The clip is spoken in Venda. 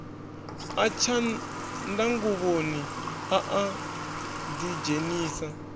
a tshanḓnguvhoni a a ḓidzhenisa